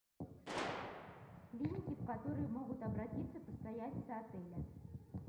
клиники в которые могут обратиться постояльцы отеля